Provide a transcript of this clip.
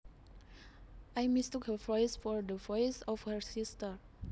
I mistook her voice for the voice of her sister